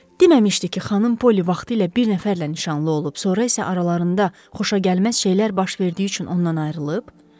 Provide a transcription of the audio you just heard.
Deməmişdi ki, xanım Polly vaxtilə bir nəfərlə nişanlı olub, sonra isə aralarında xoşagəlməz şeylər baş verdiyi üçün ondan ayrılıb?